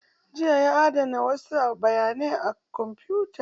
Jiya ya adana wasu bayanai a kwamfutan